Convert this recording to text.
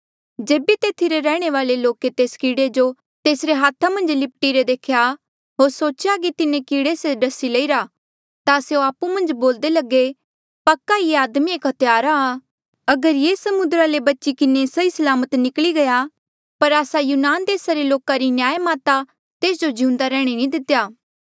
जेबे तेथी रे रैहणे वाले लोके तेस कीड़े जो तेसरे हाथा मन्झ लिप्टी रे देख्या होर सोचेया कि तिन्हें कीड़े से डसी लईरा ता स्यों आपु मन्झ बोल्दे लगे पक्का ई ये आदमी एक हत्यारा आ अगर ये समुद्रा ले बची किन्हें सही सलामत निकली गया पर आस्सा यूनान देसा रे लोका री न्यायमाता तेस जो जिउंदा रैहणा नी दितेया